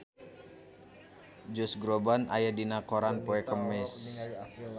Josh Groban aya dina koran poe Kemis